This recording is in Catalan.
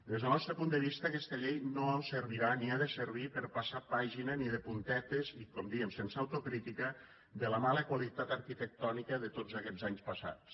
des del nostre punt de vista aquesta llei no servirà ni ha de servir per passar pàgina ni de puntetes i com dèiem sense autocrítica de la mala qualitat arquitectònica de tots aquests anys passats